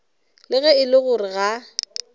ge e le gore ga